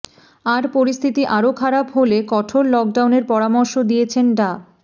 আর পরিস্থিতি আরো খারাপ হলে কঠোর লকডাউনের পরামর্শ দিয়েছেন ডা